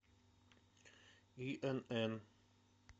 инн